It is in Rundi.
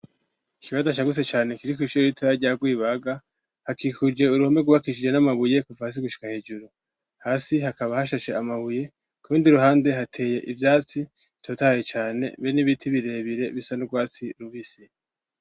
ikibanza shagutse cane kiri kw'ishure ritoya rya gwibaga hakikuje uruhome gubakishije n'amabuye kuva hasi gushika hejuru hasi hakaba hashashe amabuye ku bindi ruhande hateye ibyatsi bitotahaye cane be n'ibiti birebire bisa nu rwatsi rubisi.